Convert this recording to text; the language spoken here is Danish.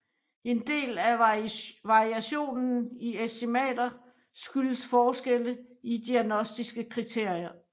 En del af variationen i estimater skyldes forskelle i diagnostiske kriterier